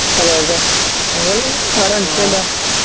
അതേ അതേ താങ്കൾ ആരാ മനസ്സിലായില്ല